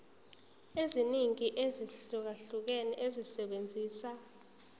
eziningi ezahlukahlukene esebenzisa